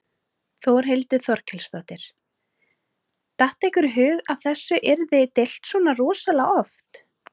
Þórhildur Þorkelsdóttir: Datt ykkur í hug að þessu yrði deilt svona rosalega oft?